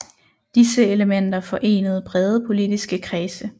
Disse elementer forenede brede politiske kredse